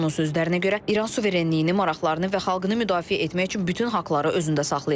Onun sözlərinə görə, İran suverenliyini, maraqlarını və xalqını müdafiə etmək üçün bütün haqları özündə saxlayır.